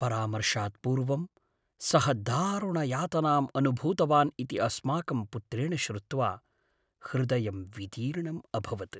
परामर्शात् पूर्वं सः दारुणयातनाम् अनुभूतवान् इति अस्माकं पुत्रेण श्रुत्वा हृदयं विदीर्णम् अभवत्।